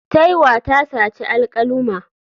Taiwa ta saci alkaluma.